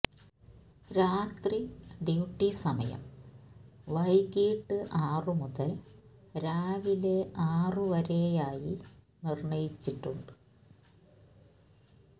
രാത്രി ഡ്യൂട്ടി സമയം വൈകിട്ട് ആറു മുതൽ രാവിലെ ആറു വരെയായി നിർണയിച്ചിട്ടുണ്ട്